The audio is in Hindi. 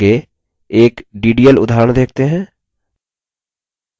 आगे एक ddl उदाहरण देखते हैं